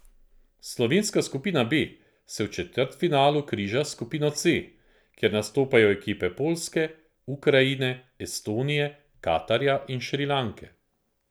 Slovenska skupina B se v četrtfinalu križa s skupino C, kjer nastopajo ekipe Poljske, Ukrajine, Estonije, Katarja in Šrilanke.